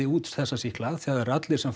út þessa sýkla þegar eru allir sem